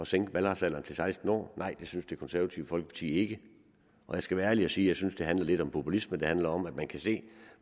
sænke valgretsalderen til seksten år nej det synes det konservative folkeparti ikke og jeg skal være ærlig at sige at jeg synes det handler lidt om populisme det handler om at man kan se